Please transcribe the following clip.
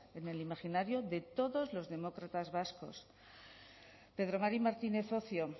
en el imaginario de todos los demócratas vascos pedro mari martínez ocio